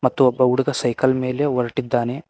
ಮತ್ತು ಒಬ್ಬ ಹುಡುಗ ಸೈಕಲ್ ಮೇಲೆ ಹೊರಟಿದ್ದಾನೆ.